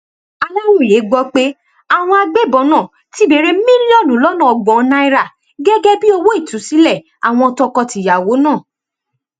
aláròyé gbọ pé àwọn agbébọn náà ti béèrè mílíọnù lọnà ọgbọn náírà gẹgẹ bíi owó ìtúsílẹ àwọn tọkọtìyàwó náà